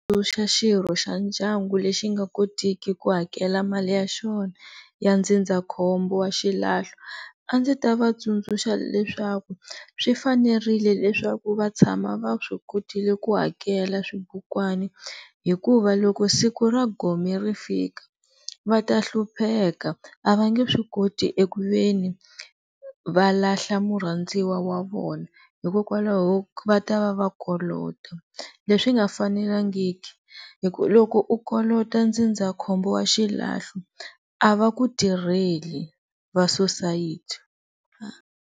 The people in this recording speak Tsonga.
xirho xa ndyangu lexi nga kotiki ku hakela mali ya xona ya ndzindzakhombo wa xilahlo a ndzi ta va tsundzuxa leswaku swi fanerile leswaku va tshama va swi kotile ku hakela swibukwana hikuva loko siku ra gome ri fika va ta hlupheka a va nge swi koti eku ve ni va lahla murhandziwa wa vona hikokwalaho va ta va va kolota, leswi nga fanelangiki, loko u kolota ndzindzakhombo wa xilahlo a va kutirheli va-society.